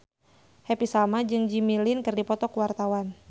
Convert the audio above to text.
Happy Salma jeung Jimmy Lin keur dipoto ku wartawan